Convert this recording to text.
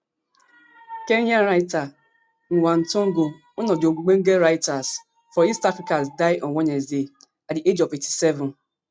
kenya writer ngg wa thiongo one of di ogbonge writers for east africa die on wednesday at di age of eighty-seven